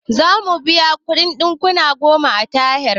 Zamu biya kuɗin ɗakuna goma a tahir